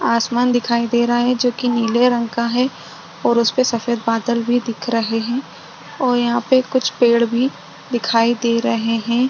आसमान दिखाई दे रहा है जो कि नीले रंग का है और उसपे सफ़ेद बादल भी दिख रहे है और यहाँ पे कुछ पेड भी दिखाई दे रहे है।